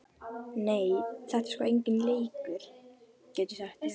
Nei, þetta er sko enginn leikur, get ég sagt þér.